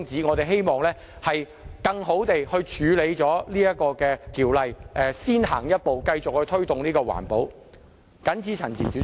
我們希望能更有效地處理《能源效益條例》，先行一步，繼續推動環保。